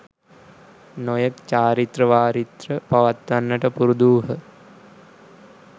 නොයෙක් චාරිත්‍ර වාරිත්‍ර පවත්වන්නට පුරුදු වූහ.